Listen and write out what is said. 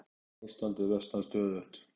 Ástandið versnar stöðugt.